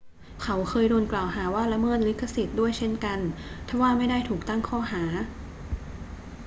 เขาเคยโดนกล่าวหาว่าละเมิดลิขสิทธิ์ด้วยเช่นกัน ทว่าไม่ได้ถูกตั้งข้อหา